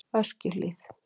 Öskjuhlíð